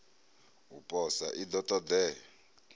u posa i ḓo ṱoḓea